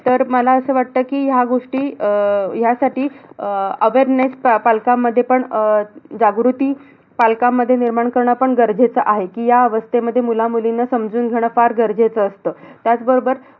तर मला असं वाटतं कि ह्या गोष्टी अह ह्या साठी अह awareness पालकांमध्ये पण अह जागृती पालकांमध्ये जागृती निर्माण करणं पण गरजेचं आहे. कि ह्या अवस्थेमध्ये मुला-मुलींना समजून घेणं फार गरजेचं असतं. त्याच बरोबर